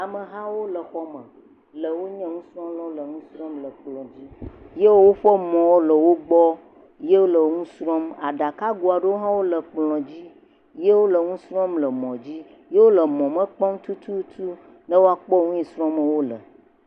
Ame hawo le xɔ me, le wonye nusrɔ̃lawo le nu srɔ̃m le kplɔ̃ dzi ye woƒe mɔwo le wo gbɔ ye wole nu srɔ̃m. Aɖakago aɖewo hã wole kplɔ̃ dzi ye wole nu srɔ̃m le mɔ dzi ye wole mɔ me kpɔm tututu be woakpɔ nu yi srɔm wole.